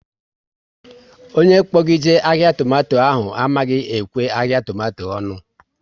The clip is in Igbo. Onye kpo gị jee ahịa tomato ahụ amaghị ekwe ahịa tomato onu